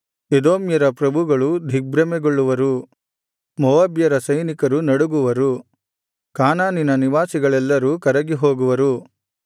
ಎದೋಮ್ಯರ ಪ್ರಭುಗಳು ದಿಗ್ಭ್ರಮೆಗೊಳ್ಳುವರು ಮೋವಾಬ್ಯರ ಸೈನಿಕರು ನಡುಗುವರು ಕಾನಾನಿನ ನಿವಾಸಿಗಳೆಲ್ಲರೂ ಕರಗಿ ಹೋಗುವರು